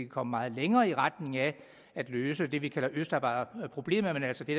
komme meget længere i retning af at løse det vi kalder østarbejderproblemet altså det